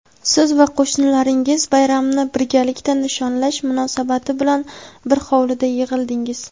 siz va qo‘shnilaringiz bayramni birgalikda nishonlash munosabati bilan bir hovlida yig‘ildingiz.